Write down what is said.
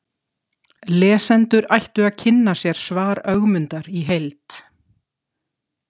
Lesendur ættu að kynna sér svar Ögmundar í heild.